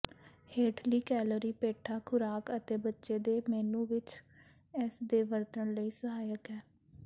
ਹੇਠਲੀ ਕੈਲੋਰੀ ਪੇਠਾ ਖੁਰਾਕ ਅਤੇ ਬੱਚੇ ਦੇ ਮੇਨੂ ਵਿੱਚ ਇਸ ਦੇ ਵਰਤਣ ਲਈ ਸਹਾਇਕ ਹੈ